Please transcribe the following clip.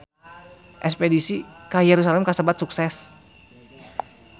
Espedisi ka Yerusalam kasebat sukses